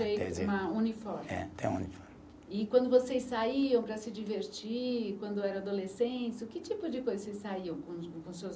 Uma uniforme. É, tem o uniforme. E quando vocês saíam para se divertir, quando era adolescentes, o que tipo de coisa vocês saíam?